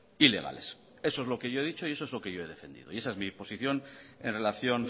y legales eso es lo que yo he dicho y eso es lo que yo he defendido y esa es mí posición en relación